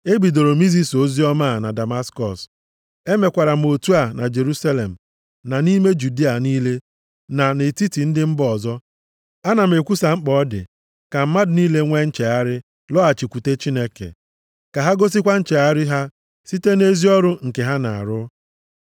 Ebidoro m izisa oziọma a na Damaskọs. Emekwara m otu a na Jerusalem na nʼime Judịa niile na nʼetiti ndị mba ọzọ. Ana m ekwusa mkpa ọ dị ka mmadụ niile nwee nchegharị lọghachikwute Chineke. Ka ha gosikwa nchegharị ha site nʼezi ọrụ nke ha na-arụ.